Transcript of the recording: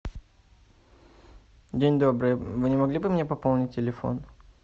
день добрый вы не могли бы мне пополнить телефон